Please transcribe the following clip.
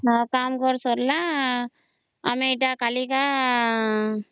କାମ ଘର ସରିଲା ଆମେ ଏଟା କାଲିକା